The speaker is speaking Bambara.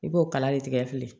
I b'o kala de tigɛ filen